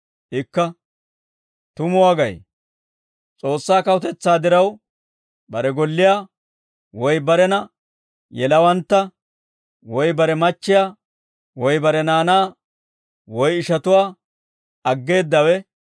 Ikka, «Tumuwaa gay, S'oossaa kawutetsaa diraw bare golliyaa, woy barena yelawantta, woy bare machchiyaa, woy bare naanaa, woy ishatuwaa aggeeddawe,